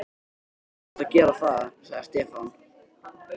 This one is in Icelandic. Þú átt að gera það, sagði Stefán.